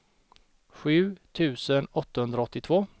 sju tusen åttahundraåttiotvå